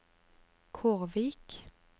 Kårvik